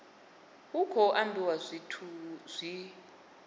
hu khou ambiwa zwithu zwi